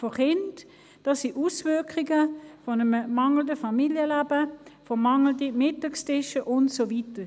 Das sind die Auswirkungen eines mangelnden Familienlebens, mangelnder Mittagstische und so weiter.